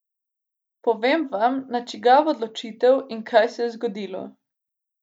Povem vam, na čigavo odločitev in kaj se je zgodilo!